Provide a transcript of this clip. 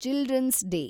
children's day